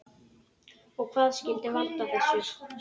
Og hvað skyldi valda þessu?